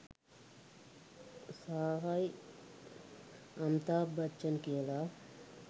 සාහයි අමිතාබ් බච්චන් කියලා.